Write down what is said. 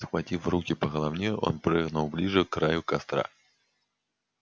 схватив в руки по головне он прыгнул ближе к краю костра